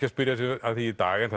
að spyrja sig að því í dag en